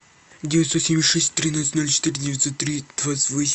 девятьсот семьдесят шесть тринадцать ноль четыре девятьсот три двадцать восемь